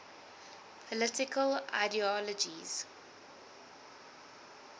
political ideologies